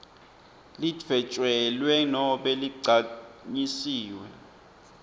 lidvwetjelwe nobe ligcanyisiwe